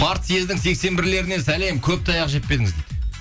партсъездің сексен бірлерінен сәлем көп таяқ жеп пе едіңіз дейді